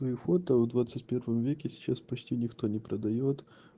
и фото в двадцать первом веке сейчас почти никто не продаёт